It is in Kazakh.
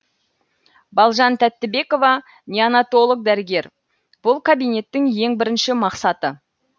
балжан тәттібекова неонатолог дәрігер бұл кабинеттің ең бірінші мақсаты